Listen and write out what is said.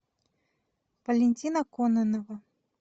валентина кононова